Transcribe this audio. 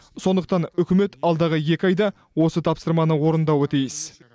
сондықтан үкімет алдағы екі айда осы тапсырманы орындауы тиіс